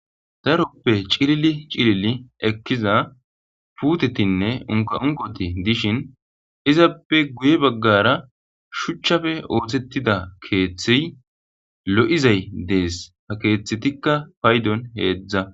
daroppe cilili cilili ekkiza puutetinne unka unqoti dishin izappe guye baggara shuchchafe ootettida keeththiy lo7izay dees ha keeththetikka paydon heedzdza